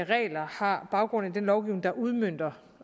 regler har baggrund i den lovgivning der udmønter